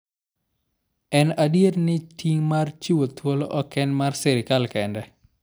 En adier ni, ting' mar chiwo thuolo ok en mar sirkal kende.